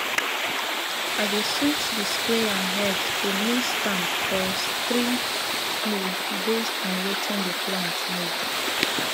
i dey switch di sprayer head to mist um or stream mode based on wetin di plant need